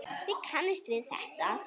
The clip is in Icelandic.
Þið kannist við þetta.